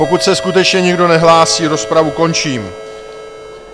Pokud se skutečně nikdo nehlásí, rozpravu končím.